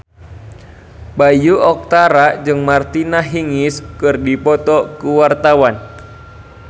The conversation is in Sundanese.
Bayu Octara jeung Martina Hingis keur dipoto ku wartawan